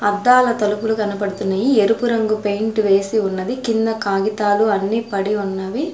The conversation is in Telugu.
అద్దాల తలుపులు కనపడుతున్నాయి ఎరుపు రంగు పెయింట్ వేసి ఉన్నది కింద కాగితాలు అన్ని పడి ఉన్నవి.